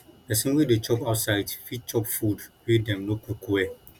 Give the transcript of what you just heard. pesin wey dey chop outside fit chop food wey dem no cook well